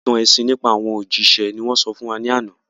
Ìtàn ẹ̀sìn nípa àwọn òjíṣẹ́ ni wọ́n sọ fún wa ní àná